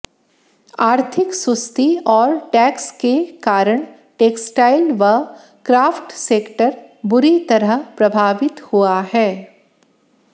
आर्थिक सुस्ती और टैक्स के कारण टेक्सटाइल व क्राफ्ट सेक्टर बुरी तरह प्रभावित हुआ है